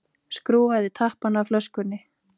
Skrúfaði tappann af flöskunni.